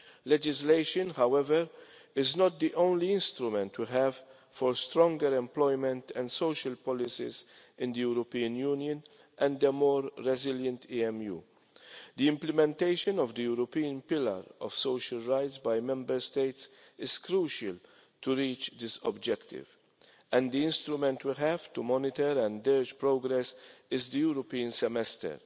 Legislation, however, is not the only instrument to have for stronger employment and social policies in the European Union and a more resilient EMU. The implementation of the European Pillar of Social Rights by Member States is crucial to reaching this objective and the instrument to have to monitor and gauge progress is the European Semester.